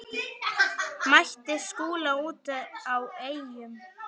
Mætti Skúla úti á Eyjum.